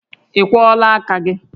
Ị kwọọla aka gị?